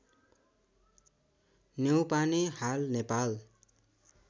न्यौपाने हाल नेपाल